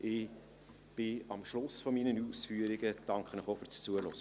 Ich bin am Schluss meiner Ausführungen angelangt.